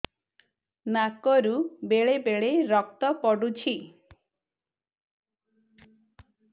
ନାକରୁ ବେଳେ ବେଳେ ରକ୍ତ ପଡୁଛି